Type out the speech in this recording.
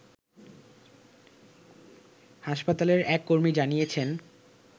হাসপাতালের এক কর্মী জানিয়েছেন